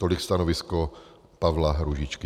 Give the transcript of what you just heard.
Tolik stanovisko Pavla Růžičky.